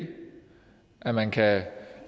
at man kan